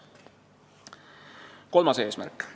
Kolmas eesmärk.